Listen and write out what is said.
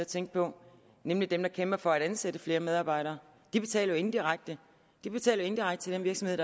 tænke på nemlig dem der kæmper for at ansætte flere medarbejdere de betaler jo indirekte til den virksomhed